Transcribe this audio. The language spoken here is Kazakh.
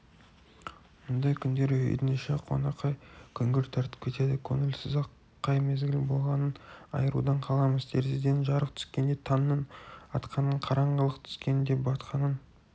мұндай күндері үйдің іші қоңырқай күңгірт тартып кетеді көңілсіз-ақ қай мезгіл болғанын айырудан қаламыз терезеден жарық түскенде таңның атқанын қараңғылық түскендебатқанын